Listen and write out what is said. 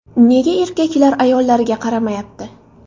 Nega erkaklar ayollariga qaramayapti?